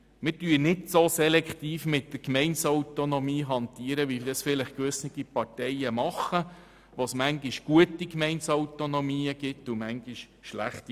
Wir hantieren nicht so selektiv mit der Gemeindeautonomie wie vielleicht andere Parteien, für welche es manchmal gute Gemeindeautonomien gibt und manchmal schlechte.